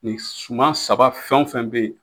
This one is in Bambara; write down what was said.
Nin suman saba fɛn o fɛn be yen